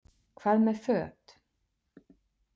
Hvað með föt?